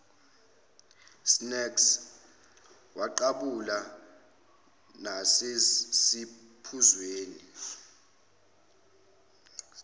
snacks waqhabula nasesiphuzweni